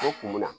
O kun bɛ na